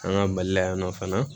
An ka mali la yan nɔ fana